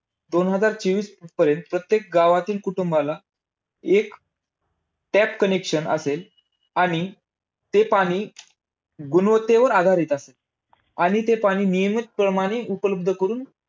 दोन हजार चोवीसपर्यंत प्रत्येक गावाला एक tap connection असेल आणि ते पाणी गुणवत्तेवर आधारित असेल. आणि ते पाणी नियमित प्रमाणे उपलब्ध करून